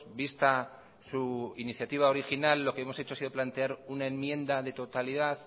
vista su iniciativa original lo que hemos hecho ha sido plantear una enmienda de totalidad